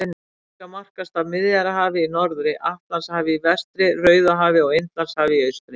Afríka markast af Miðjarðarhafi í norðri, Atlantshafi í vestri, Rauðahafi og Indlandshafi í austri.